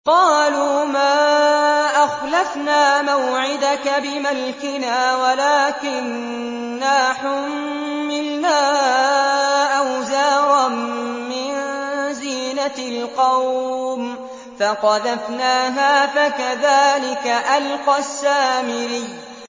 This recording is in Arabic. قَالُوا مَا أَخْلَفْنَا مَوْعِدَكَ بِمَلْكِنَا وَلَٰكِنَّا حُمِّلْنَا أَوْزَارًا مِّن زِينَةِ الْقَوْمِ فَقَذَفْنَاهَا فَكَذَٰلِكَ أَلْقَى السَّامِرِيُّ